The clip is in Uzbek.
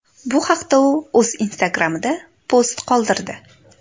Bu haqda u o‘z Instagram’ida post qoldirdi .